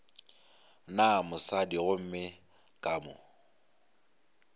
na mosadi gomme ka mo